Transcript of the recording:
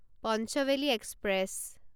Panchvalley express